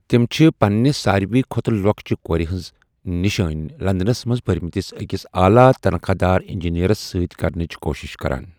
تِم چھِ پنِنہِ ساروٕے کھۄتہٕ لۄکچہِ کورِ ہٕنٛز نشٲنۍ لندنَس منٛز پرِمٕتِس أکِس اعلیٰ تنخواہ دار انجینئرَس سۭتۍ کرنٕچ کوُشِش کران۔